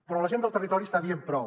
però la gent del territori està dient prou